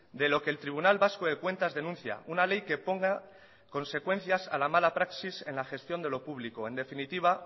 de lo que el tribunal vasco de cuentas denuncia una ley que ponga consecuencias a la mala praxis en la gestión de lo público en definitiva